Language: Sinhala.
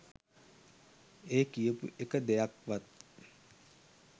ඒ කියපු එක දෙයක්වත්